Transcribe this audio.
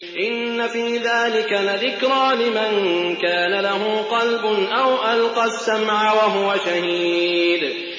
إِنَّ فِي ذَٰلِكَ لَذِكْرَىٰ لِمَن كَانَ لَهُ قَلْبٌ أَوْ أَلْقَى السَّمْعَ وَهُوَ شَهِيدٌ